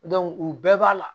u bɛɛ b'a la